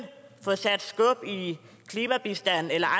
få sat skub i klimabistanden eller